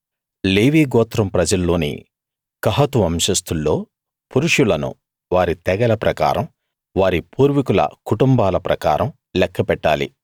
లేవీ గోత్రం ప్రజల్లోని కహాతు వంశస్తుల్లో పురుషులను వారి తెగల ప్రకారం వారి పూర్వీకుల కుటుంబాల ప్రకారం లెక్క పెట్టాలి